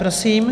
Prosím.